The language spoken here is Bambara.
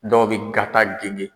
Dɔw bɛ gata ginge